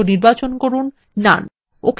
ওকে click করুন